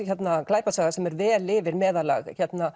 glæpasaga sem er vel yfir meðallag